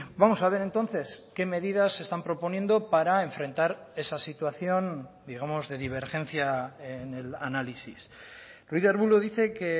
vamos a ver entonces qué medidas se están proponiendo para enfrentar esa situación digamos de divergencia en el análisis ruiz de arbulo dice que